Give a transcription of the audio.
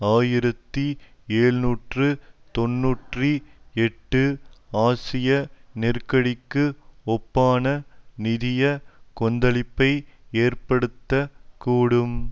ஆயிரத்தி எழுநூற்று தொன்னூற்றி எட்டு ஆசிய நெருக்கடிக்கு ஒப்பான நிதிய கொந்தளிப்பை ஏற்படுத்த கூடும்